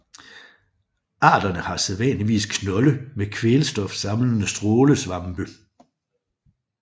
Arterne har sædvanligvis knolde med kvælstofsamlende strålesvampe